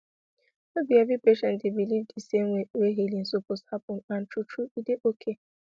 no be every patient dey believe di same way wey healing suppose happen and true true e dey okay